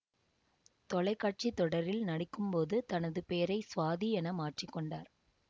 தொலை காட்சி தொடரில் நடிக்கும் போது தனது பெயரை சுவாதி என மாற்றி கொண்டார்